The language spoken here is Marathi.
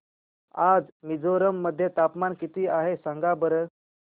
आज मिझोरम मध्ये तापमान किती आहे सांगा बरं